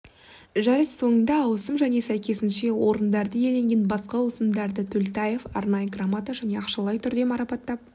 жарыс соңында ауысым және сәйкесінше орындарды иеленген басқа ауысымдарды төлтаев арнайы грамота және ақшалай түрде марапаттап